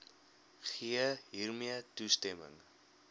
gee hiermee toestemming